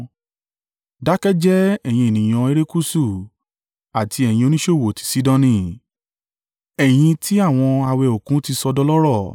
Dákẹ́ jẹ́ẹ́, ẹ̀yin ènìyàn erékùṣù àti ẹ̀yin oníṣòwò ti Sidoni, ẹ̀yin tí àwọn a wẹ Òkun ti sọ dọlọ́rọ̀.